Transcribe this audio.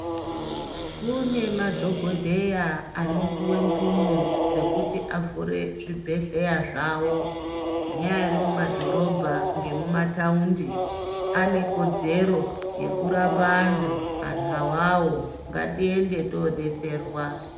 Kune madhogodheya anopuwe mvumo dzekuti avhure zvibhehleya zvawo. Munyari mumadhorobha ngemumataundi, ane kodzero yekurapa antu. Antu awawo ngatiende todetserwa.